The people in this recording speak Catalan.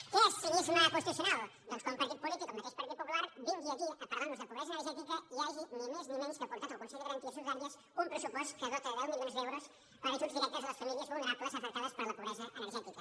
què és cinisme constitucional doncs que un partit polític el mateix partit popular vingui aquí a parlarnos de pobresa energètica i hagi ni més ni menys portat al consell de garanties estatutàries un pressupost que dota de deu milions d’euros per ajuts directes a les famílies vulnerables afectades per la pobresa energètica